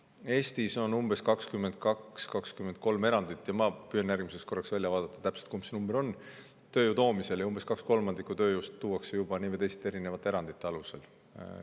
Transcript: Eestis on tööjõu sissetoomisel umbes 22–23 erandit – ma püüan järgmiseks korraks järele vaadata, kumb number on – ja umbes kaks kolmandikku tööjõust tuuakse juba nii või teisiti erinevate erandite alusel.